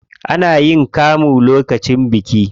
Ana yin kamu lokacin biki.